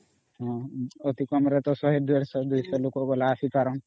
ଅତି କମ ରେ 100150 ରୁ 200 ଲୋକ ଆସିପାରନ୍ତ